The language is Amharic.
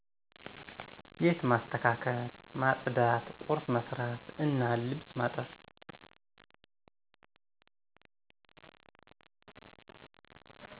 ቤት ማስተካከል፣ ማፅዳት፣ ቁርስ መስራት እና ልብስ ማጠብ